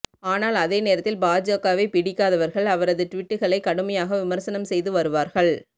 ஆனால் அதே நேரத்தில் பாஜகவை பிடிக்காதவர்கள் அவரது டுவிட்டுக்களை கடுமையாக விமர்சனம் செய்து வருவார்கள்